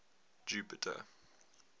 jupiter